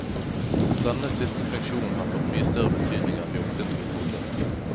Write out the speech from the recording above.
Denne siste funksjonen har fått mye større betydning enn vi opprinnelig trodde.